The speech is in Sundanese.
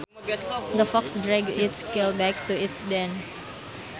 The fox dragged its kill back to its den